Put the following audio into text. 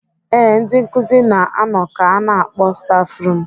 Ebe ndị nkụzi na-anọ ka ana akpọ stafrum.